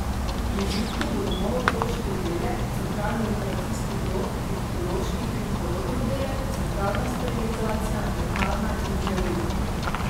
V prizidku bodo nov otroški oddelek, centralni operacijski blok, ginekološki in porodni oddelek, centralna sterilizacija, lekarna in dializa.